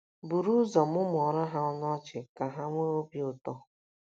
Buru ụzọ mụmụọrọ ha ọnụ ọchị ka ha nwee obi ụtọ.